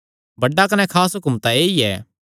बड्डा कने खास हुक्म तां ऐई ऐ